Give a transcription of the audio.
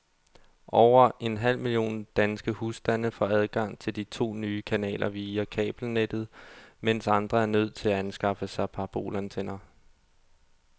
Over en halv million danske husstande får adgang til de to nye kanaler via kabelnettet, mens andre er nødt til at anskaffe sig parabolantenner.